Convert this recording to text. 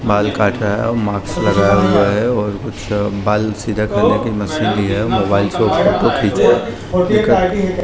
बाल काट रहा है और मास्क लगाया हुआ है और कुछ बाल सीधा करने की मशीन भी है मोबाइल से फोटो खिंच रहा है।